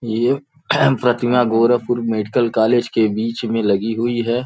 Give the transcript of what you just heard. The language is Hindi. यह प्रतिमा गोरखपुर मेडिकल कालेज के बीच में लगी हुई है।